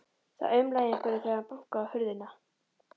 Það umlaði í einhverjum þegar hann bankaði á hurðina.